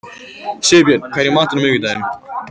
Sigurbjörn, hvað er í matinn á miðvikudaginn?